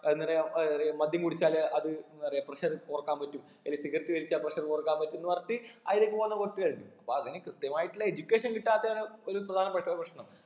എന്തറയാ ഏർ മദ്ധ്യം കുടിച്ചാൽ അത് ന്ന പറയ pressure കൊറക്കാൻ പറ്റും അല്ലേൽ cigarette വലിച്ചാ pressure കുറക്കാൻ പറ്റുംന്ന് പറഞ്ഞിട്ട് അതിലേക്ക് പോകുന്ന കുറച്ച് പേരുണ്ട് അപ്പൊ അതിന് കൃത്യമായിട്ടുള്ള education കിട്ടാത്തയാണ് ഒരു പ്രധാനപ്പെട്ട പ്രശ്നം